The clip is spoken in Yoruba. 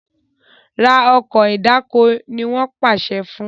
rà Ọkọ̀ ìdáko! ní wón pàṣẹ fún